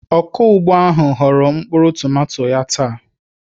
Ọkụ ugbo ahụ ghọrọ mkpụrụ tomato ya taa.